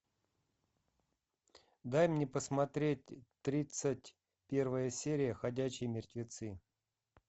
дай мне посмотреть тридцать первая серия ходячие мертвецы